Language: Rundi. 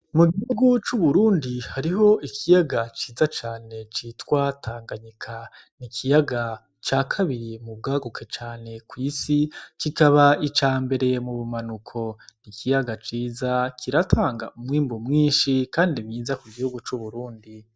Mu gihugu c' Uburundi hariho ikiyaga ciza cane citwa Tanganyika, ni ikiyaga ca kabiri mu bwaguke cane kw'isi kikaba icambere mu bumanuko, ni ikiyaga ciza, kiratanga umwimbu mwinshi kandi mwiza ku gihugu c'Uburundi.